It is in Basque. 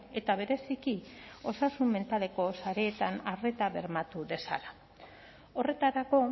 eta bereziki osasun mentaleko sareetan arreta bermatu dezala horretarako